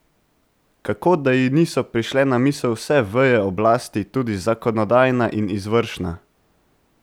Kako da ji niso prišle na misel vse veje oblasti, tudi zakonodajna in izvršna?